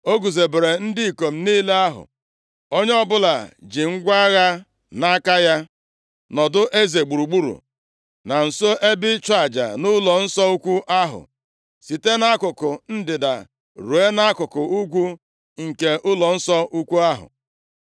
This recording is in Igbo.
O guzobere ndị ikom niile ahụ, onye ọbụla ji ngwa agha ya nʼaka ya, nọdụ eze gburugburu na nso ebe ịchụ aja na ụlọnsọ ukwu ahụ. Site nʼakụkụ ndịda ruo nʼakụkụ ugwu nke ụlọnsọ ukwu ahụ.